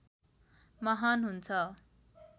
महान हुन्छ